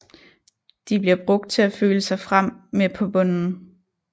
De bliver brugt til at føle sig frem med på bunden